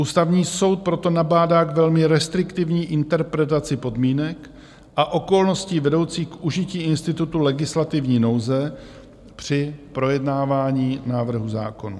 Ústavní soud proto nabádá k velmi restriktivní interpretaci podmínek a okolností vedoucích k užití institutu legislativní nouze při projednávání návrhů zákonů.